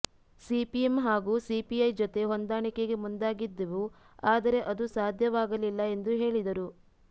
CPM ಹಾಗೂ CPI ಜೊತೆ ಹೊಂದಾಣಿಕೆಗೆ ಮುಂದಾಗಿದ್ದೆವು ಆದರೆ ಅದು ಸಾಧ್ಯವಾಗಲಿಲ್ಲ ಎಂದು ಹೇಳಿದರು